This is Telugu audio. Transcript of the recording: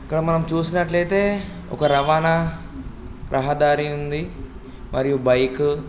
ఇక్కడ మనం చూసినట్లయితే ఒక రవాణా రహదారి ఉంది. మరియు బైక్ --